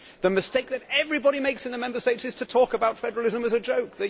The mistake that everybody makes in the Member States is to talk about federalism as a joke